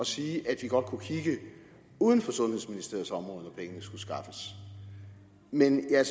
sige at vi godt kunne kigge uden for sundhedsministeriets område når pengene skulle skaffes men jeg er